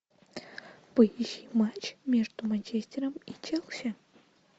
поищи матч между манчестером и челси